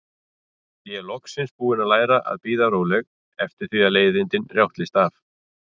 Ég er loksins búin að læra að bíða róleg eftir því að leiðindin rjátlist af.